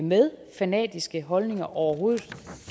med fanatiske holdninger overhovedet